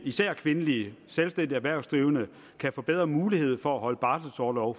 især kvindelige selvstændige erhvervsdrivende kan få bedre mulighed for at holde barselorlov